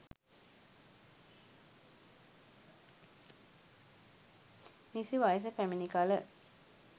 නිසි වයස පැමිණි කල